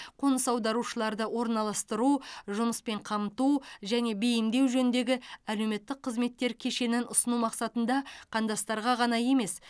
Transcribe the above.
қоныс аударушыларды орналастыру жұмыспен қамту және бейімдеу жөніндегі әлеуметтік қызметтер кешенін ұсыну мақсатында қандастарға ғана емес